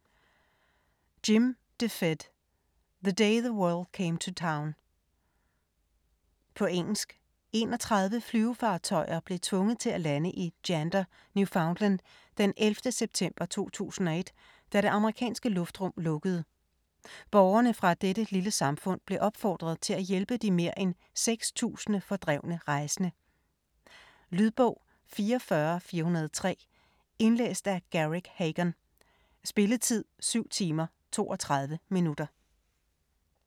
DeFede, Jim: The day the world came to town På engelsk. 31 flyvefartøjer blev tvunget til at lande i Gander, Newfoundland, den 11. september 2001, da det amerikanske luftrum lukkede. Borgerne fra dette lille samfund blev opfordret til at hjælpe de mere end seks tusinde fordrevne rejsende. Lydbog 44403 Indlæst af Garrick Hagon. Spilletid: 7 timer, 32 minutter.